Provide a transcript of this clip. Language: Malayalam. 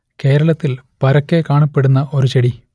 കേരളത്തിൽ പരക്കെ കാണപ്പെടുന്ന ഒരു ചെടി